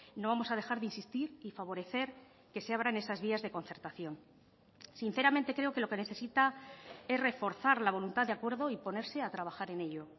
no vamos a dejar de insistir y favorecer que se abran esas vías de concertación sinceramente creo que lo que necesita es reforzar la voluntad de acuerdo y ponerse a trabajar en ello